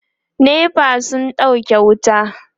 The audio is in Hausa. NEPA sun ɗauke wuta